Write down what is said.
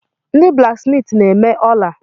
Ndị blaksmiiti na-eme ola.